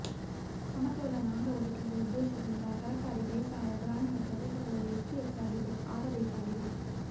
ಸಮತೋಲನ ಆಹಾರ ಒದಗಿಸುವ ಉದ್ದೇಶದಿಂದ ತರಕಾರಿ ಬೇಸಾಯ ಗ್ರಾಮೀಣ ಪ್ರದೇಶಗಳಲ್ಲಿ ಹೆಚ್ಚು ಹೆಚ್ಚಾಗಿ ಆಗಬೇಕಾಗಿದೆ